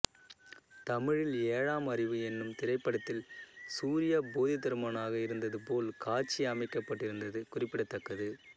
தமிழில் ஏழாம் அறிவு என்னும் திரைப்படத்தில் சூர்யா போதிதருமனாக இருந்தது போல் காட்சி அமைக்கப்பட்டிருந்தது குறிப்பிடத்தக்கது